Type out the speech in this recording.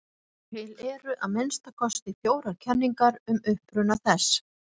Til eru að minnsta kosti fjórar kenningar um uppruna þess.